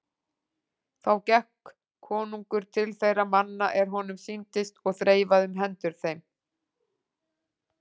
Þá gekk konungur til þeirra manna er honum sýndist og þreifaði um hendur þeim.